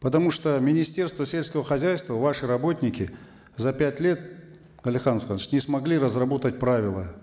потому что министерство сельского хозяйства ваши работники за пять лет алихан асханович не смогли разработать правила